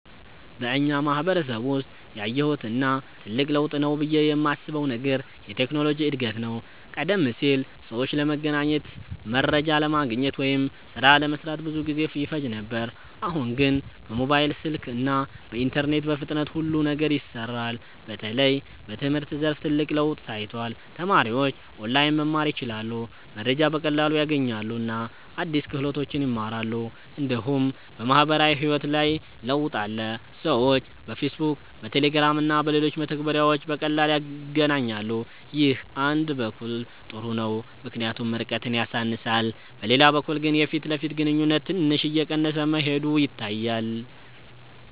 በእኛ ማህበረሰብ ውስጥ ያየሁት እና ትልቅ ለውጥ ነው ብዬ የማስበው ነገር የቴክኖሎጂ እድገት ነው። ቀደም ሲል ሰዎች ለመገናኘት፣ መረጃ ለማግኘት ወይም ሥራ ለመስራት ብዙ ጊዜ ይፈጅ ነበር። አሁን ግን በሞባይል ስልክ እና በኢንተርኔት በፍጥነት ሁሉ ነገር ይሰራል። በተለይ በትምህርት ዘርፍ ትልቅ ለውጥ ታይቷል። ተማሪዎች ኦንላይን መማር ይችላሉ፣ መረጃ በቀላሉ ያገኛሉ እና አዲስ ክህሎቶችን ይማራሉ። እንዲሁም በማህበራዊ ህይወት ላይ ለውጥ አለ። ሰዎች በፌስቡክ፣ በቴሌግራም እና በሌሎች መተግበሪያዎች በቀላሉ ይገናኛሉ። ይህ አንድ በኩል ጥሩ ነው ምክንያቱም ርቀትን ያሳንሳል፤ በሌላ በኩል ግን የፊት ለፊት ግንኙነት ትንሽ እየቀነሰ መሄዱ ይታያል።